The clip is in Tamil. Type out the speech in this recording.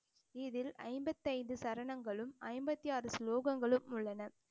இதில் ஐம்பத்தி ஐந்து சரணங்களும் ஐம்பத்தி ஆறு ஸ்லோகங்களும் உள்ளன